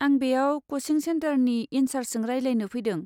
आं बेयाव क'चिं सेन्टारनि इन सार्सजों रायलायनो फैदों।